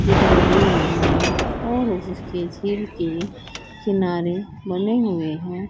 दिखाई दे रहा है और इस के किनारे बने हुए हैं।